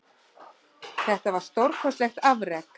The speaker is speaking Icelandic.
Þetta var stórkostlegt afrek